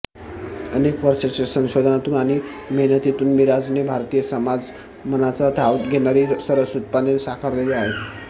अनेक वर्षाच्या संशोधनातून आणि मेहनतीतून मिराजने भारतीय समाजमनाचा ठाव घेणारी सरस उत्पादने साकारलेली आहेत